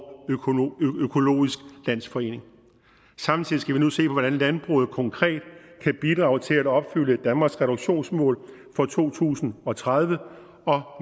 økologisk landsforening samtidig skal vi nu se på hvordan landbruget konkret kan bidrage til at opfylde danmarks reduktionsmål for to tusind og tredive og